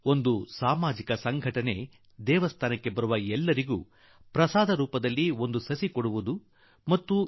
ಮಂದಿರಕ್ಕೆ ಬರುವವರೆಲ್ಲರಿಗೂ ನೀಡುವ ಪ್ರಸಾದದಲ್ಲಿ ಗಿಡ ಕೊಡುವ ನಿರ್ಧಾರವನ್ನು ಸಮಾಜ ಸೇವೀ ಸಂಸ್ಥೆಯೊಂದು ತೀರ್ಮಾನಿಸಿತು